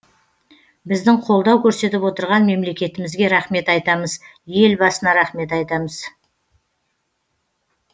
біздің қолдау көрсетіп отырған мемлекетімізге рахмет айтамыз елбасына рахмет айтамыз